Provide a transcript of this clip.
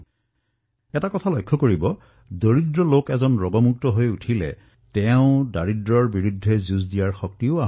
আপোনালোকে দেখিছে যে যেতিয়া দুখীয়া লোক ৰোগৰ পৰা মুক্ত হয় তেতিয়া তেওঁলোকে দৰিদ্ৰতাৰ সৈতেও যুঁজিবলৈ শক্তি পায়